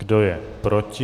Kdo je proti?